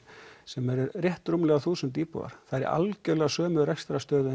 sem eru rétt rúmlega þúsund íbúar það er í algjörlega sömu rekstrarstöðu